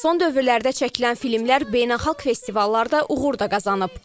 Son dövrlərdə çəkilən filmlər beynəlxalq festivallarda uğur da qazanıb.